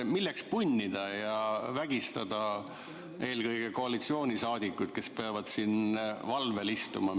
Milleks punnida ja vägistada eelkõige koalitsioonisaadikuid, kes peavad siin valvel istuma?